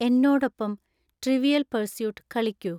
എന്നോടൊപ്പം 'Trivial Pursuit' കളിക്കൂ